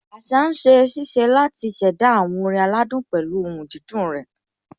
Àṣá ń ṣiṣẹ́ láti ṣẹ̀dá àwọn orin aládùn pẹ̀lú ohùn dídùn rẹ̀.